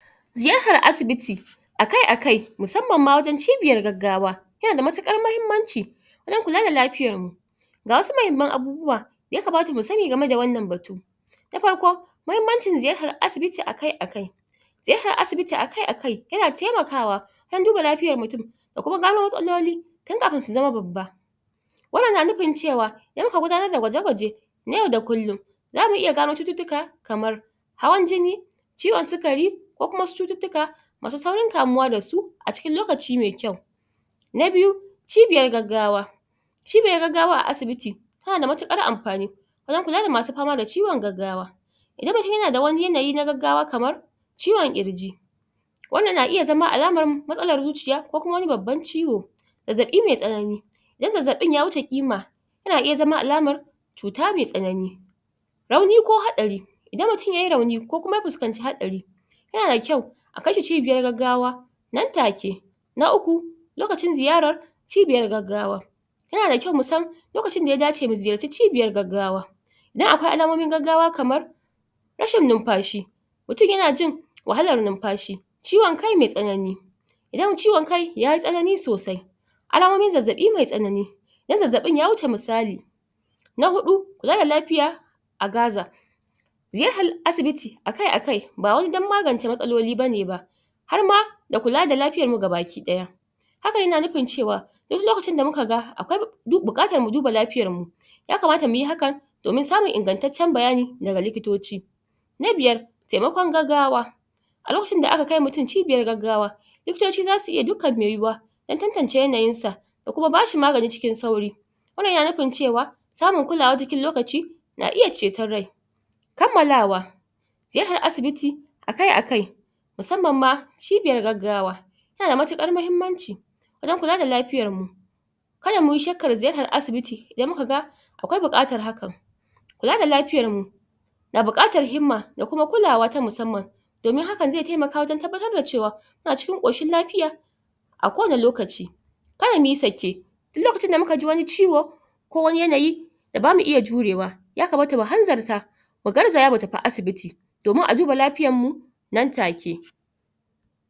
ziyahar asibiti akai akai musamman ma wajen cibiyar gaggawa yana da matuƙar mahimmanci wajen kula da lapiyar mu ga wasu mahimman abubuwa da yakamata mu sani game da wannan batu na parko mahimmancin ziyahar asibiti akai akai ziyahar asibiti akai yana taimakawa don duba lafiyar mutun da kuma gano matsaloli tin kapin su zama babba wannan na nupin cewa in aka gudanar da gwaje gwaje na yau da kullun zamu iya gano cututtuka kamar hawan jini ciwon sikari ko kuma wasu cututtuka masu saurin kamuwa dasu a cikin lokaci mai kyau na biyu cibiyar gaggawa cibiyar gaggawa a asibiti suna da matuƙar ampani wajen kula da masu pama da ciwon gaggawa idan mutun yana da wani yanayi na gaggawa kamar ciwon ƙirji wannan na iya zama alamar matsalar zuciya ko kuma wani babban ciwo zazzaɓi mai tsanani idan zazzaɓin ya wuce ƙima yana iya zama alamar cuta mai tsanani rauni ko haɗari idan mutun yayi rauni ko kuma ya puskanci haɗari yana da kyau a kai shi cibiyar gaggawa nan take na uku lokacin ziyarar cibiyar gaggawa yana da kyau mu san lokacin da ya dace mu ziyarci cibiyan gaggawa don akwai alamomin gaggawa kamar rashin numpashi mutun yana jin wahalar numpashi ciwon kai mai tsanani idan ciwon kai yayi tsanani sosai alamomin zazzaɓi mai tsanani idan zazzaɓin ya wuce misali na huɗu mara lapiya a gaza ziyahal asibiti akai akai ba wai don magance matsaloli bane ba har ma da kula da lapiyar mu gabaki ɗaya haka yana nupin cewa duk lokacin da muka ga akwai du mu duba lapiyar mu yakamata muyi hakan domin samun ingantaccen bayani daga likitoci na biyar taimakon gaggawa a lokacin da aka kai mutun ciɓiyar gaggawa likitoci zasu iya dukkan mai yiwuwa don tantance yanayinsa da kuma bashi magani cikin sauri wannan yana nupin cewa samun kulawa cikin lokaci na iya ceton rai kammalawa ziyahar asibiti akai akai musamman ma ciɓiyar gaggawa yana da matuƙar mahimmanci wajen kula da lapiyar mu kada muyi shakkan ziyahar asibiti idan muka ga akwai buƙatar hakan kula da lapiyar mu na buƙatar himma da kuma kulawa ta musamman domin hakan zai taimaka wajen tabbatar da cewa muna cikin ƙoshin lapiya a kowani lokaci kar muyi sake duk lokacin da muka ji wani ciwo ko wani yanayi da bamu iya jurewa yakamata mu hanzarta mu garzaya mu tapi asibiti domin a duba lapiyan mu nan take